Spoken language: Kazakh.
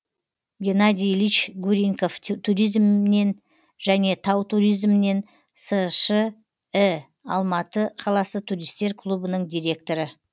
геннадий ильич гурьенков туризмнен және тау туризмнен сш і алматы қаласы туристер клубының директоры